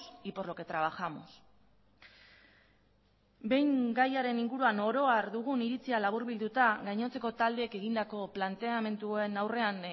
y por lo que trabajamos behin gaiaren inguruan oro har dugun iritzia laburbilduta gainontzeko taldeek egindako planteamenduen aurrean